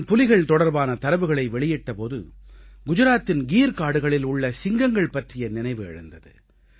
நான் புலிகள் தொடர்பான தரவுகளை வெளியிட்ட போது குஜராத்தின் கீர் காடுகளில் உள்ள சிங்கங்கள் பற்றிய நினைவு எழுந்தது